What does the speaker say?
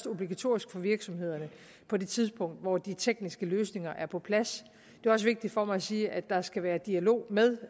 obligatorisk for virksomhederne på det tidspunkt hvor de tekniske løsninger er på plads det er også vigtigt for mig at sige at der skal være dialog med